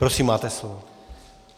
Prosím, máte slovo.